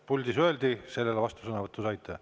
Puldis öeldi ja sellele vastusõnavõtu saite.